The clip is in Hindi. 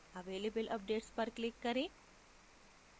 available updates पर click करें